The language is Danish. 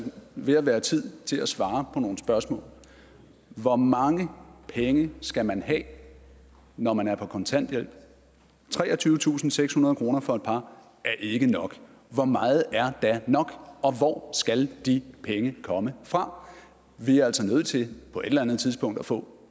ved at være tid til at svare på nogle spørgsmål hvor mange penge skal man have når man er på kontanthjælp treogtyvetusinde og sekshundrede kroner for et par er ikke nok hvor meget er da nok og hvor skal de penge komme fra vi er altså nødt til på et eller andet tidspunkt at få